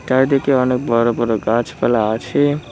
চারিদিকে অনেক বড় বড় গাছপালা আছে।